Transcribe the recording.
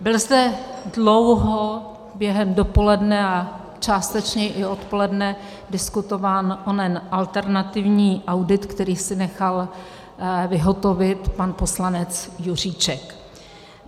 Byl zde dlouho během dopoledne a částečně i odpoledne diskutován onen alternativní audit, který si nechal vyhotovit pan poslanec Juříček.